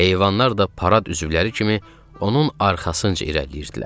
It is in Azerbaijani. Heyvanlar da parad üzvləri kimi onun arxasınca irəliləyirdilər.